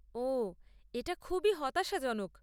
ওহ, এটা খুবই হতাশাজনক।